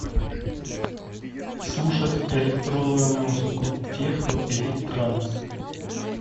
слушать электронную музыку техно или транс